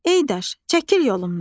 Ey daş, çəkil yolumdan.